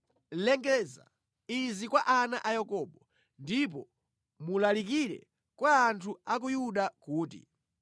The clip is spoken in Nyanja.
“Lengeza izi kwa ana a Yakobo ndipo mulalikire kwa anthu a ku Yuda kuti,